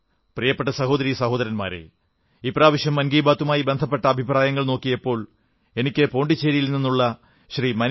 പ്രിയപ്പെട്ട സഹോദരീ സഹോദരന്മാരേ ഇപ്രാവശ്യം ഞാൻ മൻ കീ ബാത്തുമായി ബന്ധപ്പെട്ട അഭിപ്രായങ്ങൾ നോക്കിയപ്പോൾ എനിക്ക് പോണ്ടിച്ചേരിയിൽ നിന്നുള്ള ശ്രീ